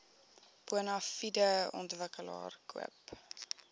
bonafide ontwikkelaar koop